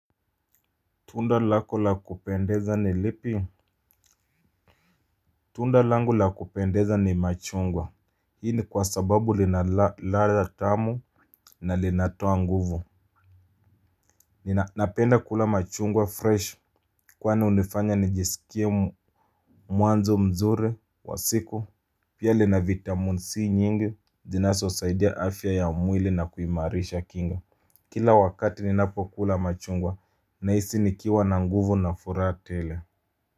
Tunda lako la kupendeza ni lipi? Tunda langu la kupendeza ni machungwa. Hii ni kwa sababu lina ladha tamu na linatoa nguvu. Ni napenda kula machungwa fresh. Kwani hunifanya nijisikie mwanzo mzuri wa siku pia lina vitamin C nyingi zinazosaidia afya ya mwili na kuimarisha kinga. Kila wakati ninapokula machungwa nahisi nikiwa na nguvu na furaha tele.